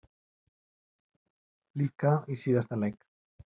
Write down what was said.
Líka í síðasta leik.